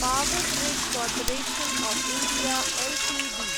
power grid corporation of India Ltd